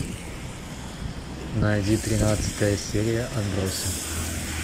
найди тринадцатая серия отбросы